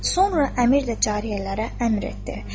Sonra əmir də cariyələrə əmr etdi.